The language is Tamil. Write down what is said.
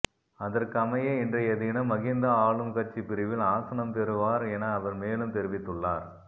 அதற்கமைய இன்றைய தினம் மஹிந்த ஆளும் கட்சி பிரிவில் ஆசனம் பெறுவார் என அவர் மேலும் தெரிவித்துள்ளார்